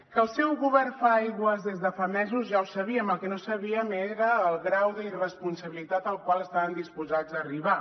que el seu govern fa aigües des de fa mesos ja ho sabíem el que no sabíem era el grau d’irresponsabilitat al qual estaven disposats a arribar